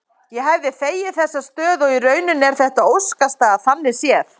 Ég hefði þegið þessa stöðu og í rauninni er þetta óskastaða þannig séð.